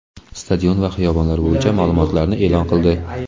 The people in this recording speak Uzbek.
stadion va xiyobonlar bo‘yicha ma’lumotlarni e’lon qildi.